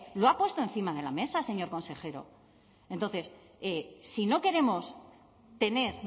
lo ha puesto encima de la mesa señor consejero entonces si no queremos tener